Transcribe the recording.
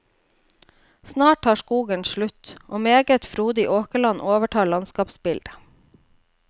Snart tar skogen slutt, og meget frodig åkerland overtar landskapsbildet.